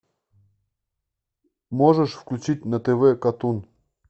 можешь включить на тв катун